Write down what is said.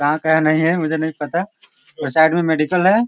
कहाँ का है नहीं है मुझे नहीं पता और साइड में मेडिकल है।